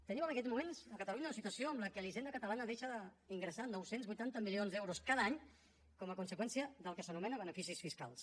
tenim en aquests moments a catalunya una situació en què la hisenda catalana deixa d’ingressar nou cents i vuitanta milions d’euros cada any com a conseqüència del que s’anomena beneficis fiscals